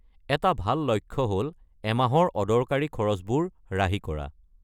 এটা ভাল লক্ষ্য হ’ল এমাহৰ অদৰকাৰী খৰচবোৰ ৰাহি কৰা।